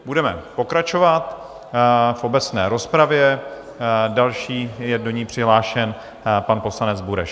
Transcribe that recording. Budeme pokračovat v obecné rozpravě, další je do ní přihlášen pan poslanec Bureš.